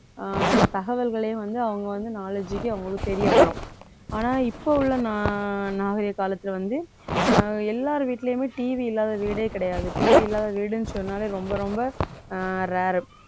அஹ் தகவல்களையும் வந்து அவங்க வந்து knowledge க்கு அவங்களுக்கு தெரிய வரும் ஆனா இப்ப உள்ள நா~ நாகரிக காலத்துல வந்து அஹ் எல்லார் வீட்டிலேயுமே TV இல்லாத வீடே கிடையாது TV இல்லாத வீடுன்னு சொன்னாலே ரொம்ப ரொம்ப அஹ் rare